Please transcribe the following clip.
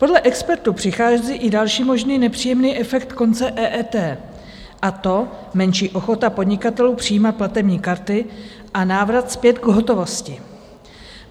Podle expertů přichází i další možný nepříjemný efekt konce EET, a to menší ochota podnikatelů přijímat platební karty a návrat zpět k hotovosti.